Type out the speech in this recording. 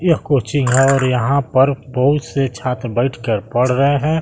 यह कोचिंग और यहां पर बहुत से छात्र बैठकर पढ़ रहे हैं।